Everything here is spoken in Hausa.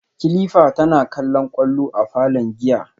kilifa tana kallon kwallo a falon giya